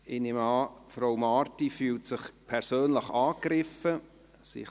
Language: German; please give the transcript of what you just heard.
Ich nehme an, dass sich Frau Marti persönlich angegriffen fühlt.